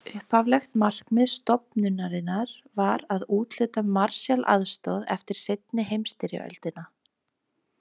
Upphaflegt markmið stofnunarinnar var að úthluta Marshall-aðstoð eftir seinni heimsstyrjöldina.